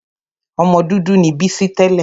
Ọmọ dúdú ni Bísí tẹ́lẹ̀.